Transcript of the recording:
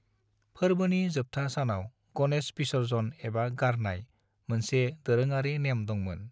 फोरबोनि जोबथा सानाव गणेश विसर्जन एबा गारनाय मोनसे दोरोङारि नेम दंमोन।